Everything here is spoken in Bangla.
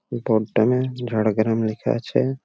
বোর্ড টামের ঝাড়গ্রামের একটা আছে ।